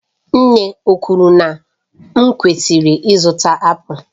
Nne ọ kwuru na m kwesịrị ịzụta apụl?